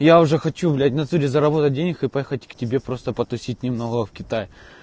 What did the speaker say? я уже хочу блять в натуре заработать денег и поехать к тебе просто потусить немного в китай